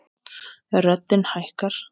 Röddin hækkar.